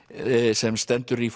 sem stendur í